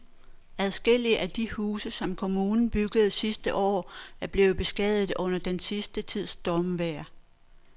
Adskillige af de huse, som kommunen byggede sidste år, er blevet beskadiget under den sidste tids stormvejr.